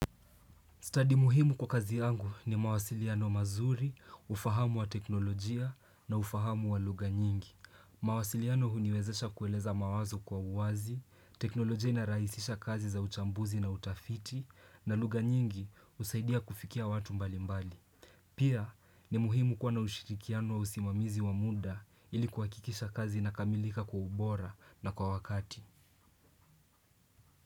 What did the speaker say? Study muhimu kwa kazi yangu ni mawasiliano mazuri, ufahamu wa teknolojia na ufahamu wa lugha nyingi. Mawasiliano huniwezesha kueleza mawazo kwa uwazi, teknolojia inaraisisha kazi za uchambuzi na utafiti, na lugha nyingi usaidia kufikia watu mbali mbali. Pia ni muhimu kwa na ushirikiano wa usimamizi wa muda ili kuakikisha kazi na kamilika kwa ubora na kwa wakati.